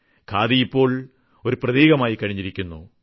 ഖാദി ഇപ്പോൾ ഒരു പ്രതീകം ആയി കഴിഞ്ഞിരിക്കുന്നു